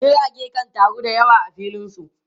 Jirage kan taru da yawa a filin su.